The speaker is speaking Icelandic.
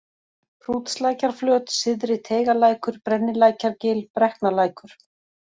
Hrútslækjarflöt, Syðri-Teigalækur, Brennilækjargil, Brekknalækur